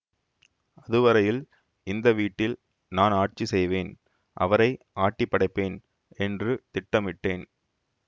அதுவரையில் இந்த வீட்டில் நான் ஆட்சி செய்வேன் அவரை ஆட்டிப் படைப்பேன் என்று திட்டமிட்டேன்